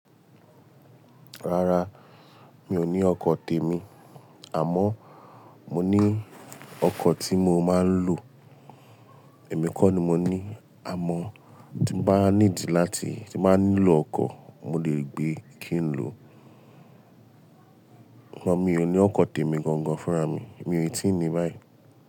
Rárá, mi ò ní ọkọ̀ tèmi. Àmọ́ mo ní ọkọ̀ tí mo máa ń lò. Èmi kọ́ ni mo ní. Àmọ́ tí mo bá ní dì láti, tí máa nílò ọkọ̀, mo lè gbé kí n lò. Ṣùgbọ́n mi ò ní ọkọ̀ tèmi gangan fúnra mi. Èmi ò tí ì ní báyìí.